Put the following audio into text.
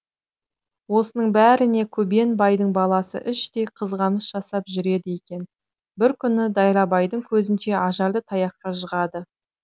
осының бәріне көбен байдың баласы іштей қызғаныш жасап жүреді екен бір күні дайрабайдың көзінше ажарды таяққа жығады